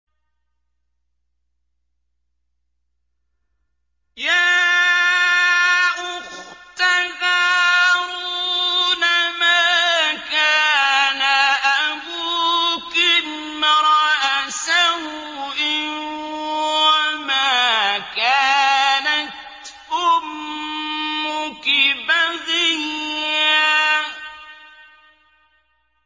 يَا أُخْتَ هَارُونَ مَا كَانَ أَبُوكِ امْرَأَ سَوْءٍ وَمَا كَانَتْ أُمُّكِ بَغِيًّا